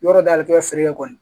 Yɔrɔ dayɛlɛn t'i ka feere kɛ kɔni